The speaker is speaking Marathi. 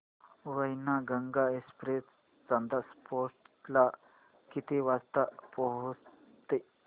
वैनगंगा एक्सप्रेस चांदा फोर्ट ला किती वाजता पोहचते